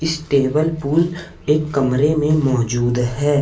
इस table pool एक कमरे में मौजूद है।